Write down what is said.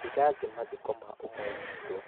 ndĩrathiĩ mathiko ma ũmwe witũ